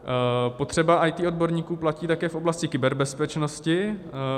Potřeba IT odborníků platí také v oblasti kyberbezpečnosti.